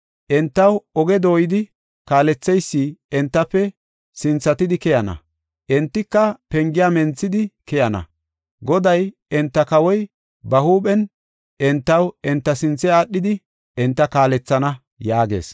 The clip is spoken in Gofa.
Entaw oge dooyidi kaaletheysi entafe sinthatidi keyana; entika pengiya menthidi, keyana. Goday, enta kawoy ba huuphen entaw enta sinthe aadhidi enta kaalethana” yaagees.